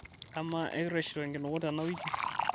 amaa ekireshito enkinuku tena wiki